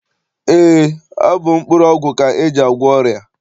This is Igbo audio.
Eé, ọ bụ mkpụrụọgwụ ka e ji agwọ ọrịa.